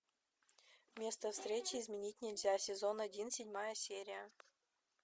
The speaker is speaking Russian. место встречи изменить нельзя сезон один седьмая серия